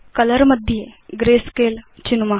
colour मध्ये grey scale चिनुम